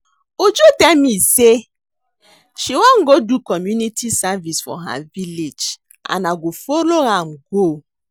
Uju tell me say she wan go do community service for her village and I go follow am go